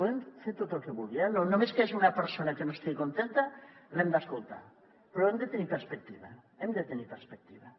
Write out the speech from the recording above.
podem fer tot el que vulgui només que hi hagi una persona que no estigui contenta l’hem d’escoltar però hem de tenir perspectiva hem de tenir perspectiva